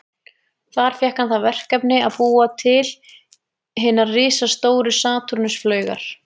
Þar fékk hann það verkefni að búa til hinar risastóru Satúrnus-flaugar.